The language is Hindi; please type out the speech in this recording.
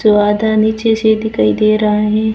तो आधा नीचे से दिखाई दे रहा है।